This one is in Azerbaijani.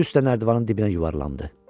Üzü üstə nərdivanın dibinə yuvarlandı.